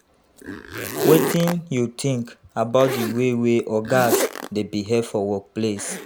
wetin you think about di way wey ogas dey behave for workplace?